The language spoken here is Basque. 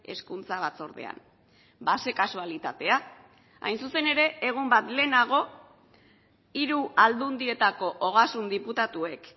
hezkuntza batzordean ba ze kasualitatea hain zuzen ere egun bat lehenago hiru aldundietako ogasun diputatuek